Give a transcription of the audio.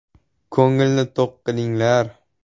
Ko‘ngilni to‘q qilinglar.